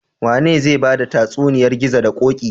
Wane zai bada tatsuniyar gizo da koki?